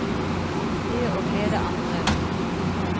Det å glede andre er stort.